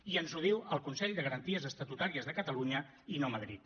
i ens ho diu el consell de garanties estatutàries de catalunya i no madrid